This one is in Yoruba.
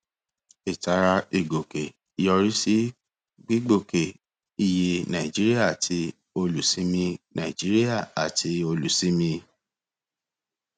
ìtara ìgòkè yọrí sí gbígbòkè iye nàìjíríà àti olùsinmi nàìjíríà àti olùsinmi